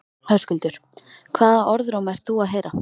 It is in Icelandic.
Höskuldur: Hvaða orðróm ert þú að heyra?